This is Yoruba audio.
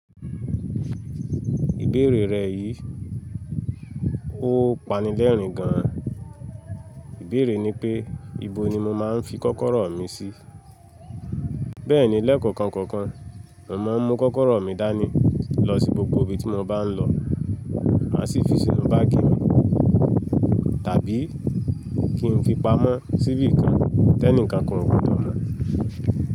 Ìbéèrè rẹ yìí ó pani lẹ́rìn gan an. Ìbéèrè ni pé, ibo ni mo máa ń fi kọ́kọ́rọ́ mi sí? Bẹ́ẹ̀ni lẹ́ẹ̀kọ̀kan kọ̀ọ̀kan, mo máa ń mú kọ́kọ́rọ́ mi dání lọ sí gbogbo ibi tí mo bá ń lọ. Má sì fi sínú báàgì mi, tàbí kí n fi pamọ́ síbí kan, tẹ́nìkan kan kò gbodo mo.